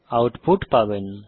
output পাবেন